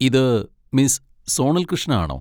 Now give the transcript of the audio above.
ഇത് മിസ് സോണൽ കൃഷ്ണ ആണോ?